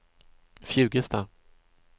Fjugesta